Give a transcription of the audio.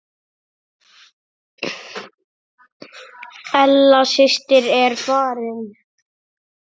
Ella systir er farin.